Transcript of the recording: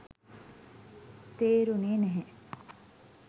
තේරුනේ නැහැ